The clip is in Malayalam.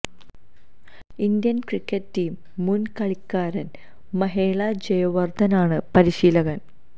ഇന്ത്യൻ ക്രിക്കറ്റ് ടീം മുൻ കളിക്കാരൻ മഹേള ജയവർധന ആണ് പരിശീലകൻ